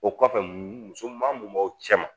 O kɔfɛ musoman mun b'aw cɛ ma